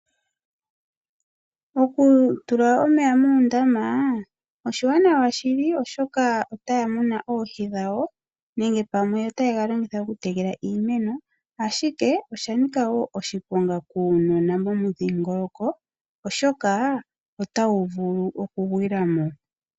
Okutula omeya muundama oshiwanawa shili oshoka otaya munu oohi dhawo nenge pamwe otaye ga longitha okutekela iimeno ashike ,osha nika wo oshiponga kuunona momudhingoloko oshoka otawu vulu okugwila mo.